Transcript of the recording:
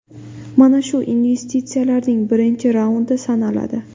Mana shu investitsiyalarning birinchi raundi sanaladi.